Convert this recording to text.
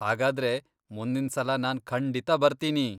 ಹಾಗಾದ್ರೆ, ಮುಂದಿನ್ಸಲ ನಾನ್ ಖಂಡಿತ ಬರ್ತೀನಿ.